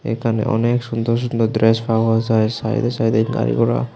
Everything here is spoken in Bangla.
এখানে অনেক সুন্দর সুন্দর ড্রেস পাওয়া যায় সাইডে সাইডে গাড়ি ঘোড়া।